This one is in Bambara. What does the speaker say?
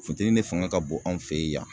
Funteni ne faŋa ka bon an' fe yan